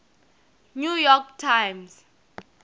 new york times